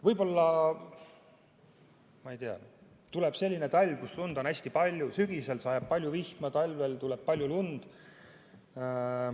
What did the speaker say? Võib-olla, ma ei tea, tuleb selline talv, et lund on hästi palju, sügisel sajab palju vihma ja talvel tuleb palju lund.